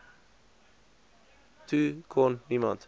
toe kon niemand